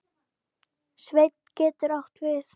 Sveinn getur átt við